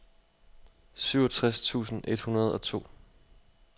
syvogtres tusind et hundrede og to